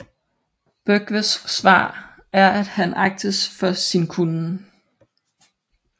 Byggves svar er at han agtes for sin kunnen